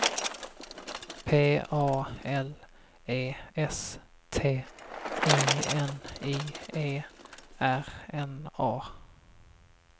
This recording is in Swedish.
P A L E S T I N I E R N A